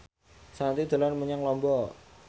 Shanti dolan menyang Lombok